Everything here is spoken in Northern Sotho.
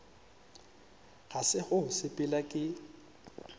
ga se go sepela ke